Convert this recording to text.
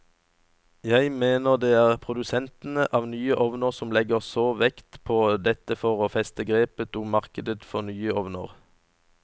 Jeg mener det er produsentene av nye ovner som legger så vekt på dette for å feste grepet om markedet for nye ovner.